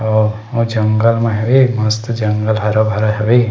और ओ जंगल म हेवे मस्त जंगल हरा-भरा हवे।